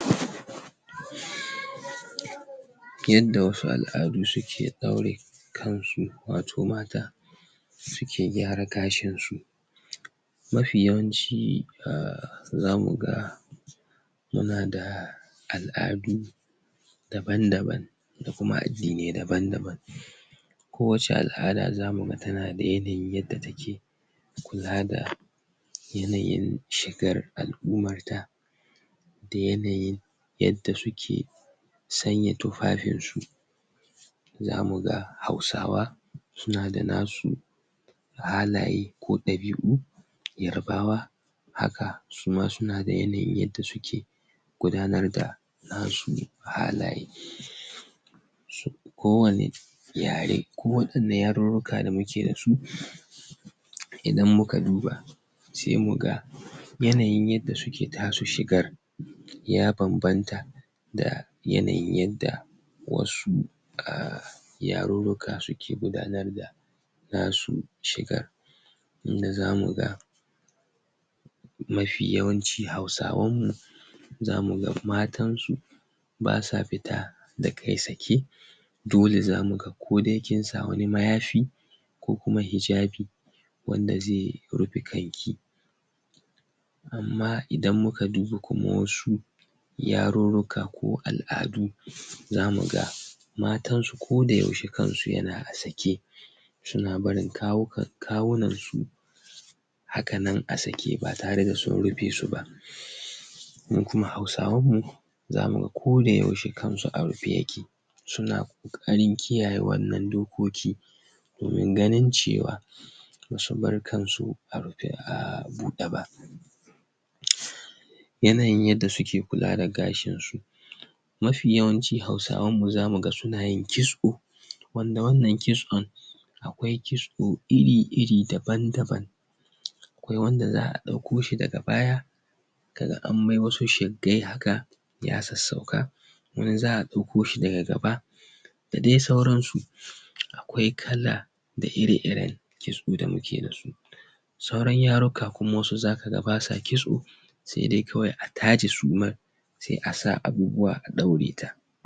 yadda wasu al'adu suke aure kunshi wato mata suke gyara gashinsu mafi yawanci a zamu ga muda da al'adu daban-daban kuma addinai daban-daban kowace al'ada za mu ga tana da yanayin yadda take gudanar da yanayin shigar alummarta da yanayin yadda suke sanya tufafinsu za mu ga Hausawa suna da nasu halaye ko ɗabi'u Yarabawa haka suma suna da yanayin yadda suke gudanar da nasu halaye kowane yare koɗanne yarunruka da muke da su idan muka duba sai mu ga yanayin yadda suke ta su shigar ya babbanta da yanayin yadda wasu a yarurruka suke gudanar da nasu shigar inda za mu ga ma fi yawanci Hausawanmu za mu ga matansu ba sa fit da kai sake dole za mu ga ko dai kai kin sa wani mayafi ko kuma hijabi wanda zai fufe kanki amma idan muka duba kuma wasu yarurruka ko al'adu za mu ga matansu kodayaushe kansu yana a sake suna barin kawukan kawunansu haka nan a sake ba tare da sun rufe su ba mu kuma Hausawanmu za mu ga kodayaushe kan su a rufe yake suna ƙoƙarin kiyaye wannan dokoki domin ganin cewa ba su bar kansu a rufe a buɗe ba mht yanayin yadda suke kula da gashinsu ma fi yawanci Hausawanmu za mu ga suna yin kitso wanda wannan kitson akwai kitso iri-iri daban-daban akwai wanda za a ɗauko shi daga baya ka ga an mai wasu shigge haka ya sassauka ko in za a ɗauko shi daga gaba dadai sauransu akwai kaza da ire-irenta kitso da muke yi yanzu sauran yaruka kuma wasu za ka ga ba sa kitso sai dai kawai a taje suma sai a sa abubuwa a ɗaure ta